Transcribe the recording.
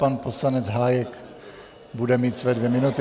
Pan poslanec Hájek bude mít své dvě minuty.